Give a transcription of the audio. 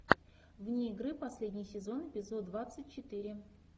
вне игры последний сезон эпизод двадцать четыре